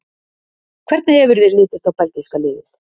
Hvernig hefur þér litist á belgíska liðið?